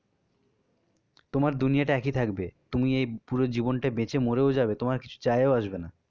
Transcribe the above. তোমার দুনিয়া টা একই থাকবে, তুই এই পুরো জীবনটায় বেঁচে মরেও যাবে তোমার কিছু যাও আসবে না